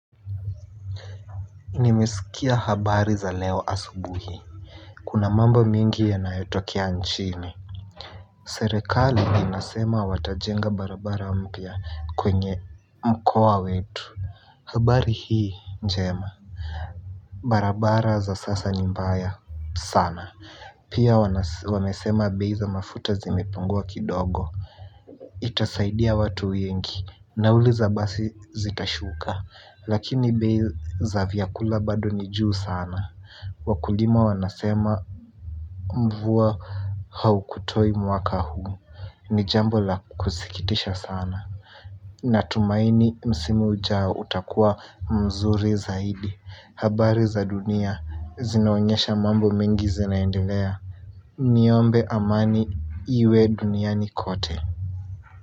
Nimesikia habari za leo asubuhi. Kuna mambo mingi yanayotokea nchini. Serekali inasema watajenga barabara mpya kwenye mkoa wetu. Habari hii njema. Barabara za sasa ni mbaya sana. Pia wamesema bei za mafuta zimepungua kidogo. Itasaidia watu wengi. Nauliza basi zitashuka lakini bei za vyakula bado ni juu sana. Wakulima wanasema mvua haukutoi mwaka huu, ni jambo la kukusikitisha sana. Natumaini msimu ujao utakua mzuri zaidi, habari za dunia, zinaonyesha mambo mingi zinaendelea. Niombe amani iwe duniani kote.